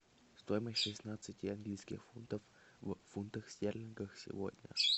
стоимость шестнадцати английских фунтов в фунтах стерлингах сегодня